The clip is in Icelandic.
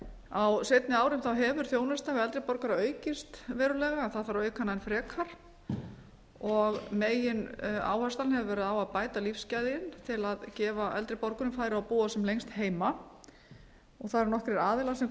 á seinni árum hefur þjónustan við eldri borgara aukist verulega það þarf að auka hana enn frekar megin áherslan hefur verið á að bæta lífsgæðin til að gefa eldri borgurum færi á að búa sem lengst heima það eru nokkrir aðilar sem